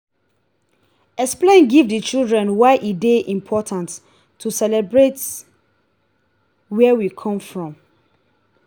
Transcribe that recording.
explain give di children why e dey important to celebrate where we come from